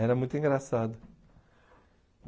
Era muito engraçado.